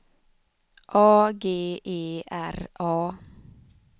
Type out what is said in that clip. A G E R A